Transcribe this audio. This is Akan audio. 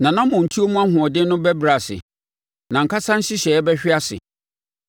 Nʼanammɔntuo mu ahoɔden ano bɛbrɛ ase; nʼankasa nhyehyɛeɛ bɛhwe nʼase.